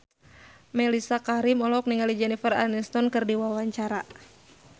Mellisa Karim olohok ningali Jennifer Aniston keur diwawancara